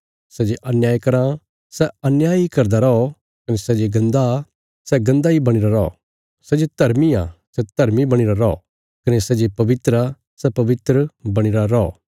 सै जे अन्याय कराँ सै अन्याय इ करदा रौ कने सै जे गन्दा सै गन्दा इ बणीरा रौ सै जे धर्मी आ सै धर्मी बणीरा रौ कने सै जे पवित्र आ सै पवित्र बणीरा रौ